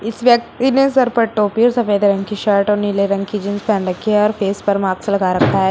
इस व्यक्ति ने सर पर टोपी और सफेद रंग की शर्ट और नीले रंग की जींस पहन रखी है और फेस पर मार्क्स लगा रखा है।